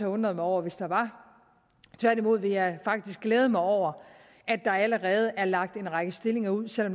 undret mig over hvis der var tværtimod vil jeg faktisk glæde mig over at der allerede er lagt en række stillinger ud selv